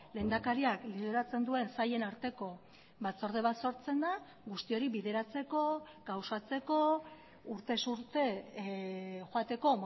lehendakariak lideratzen duen sailen arteko batzorde bat sortzen da guzti hori bideratzeko gauzatzeko urtez urte joateko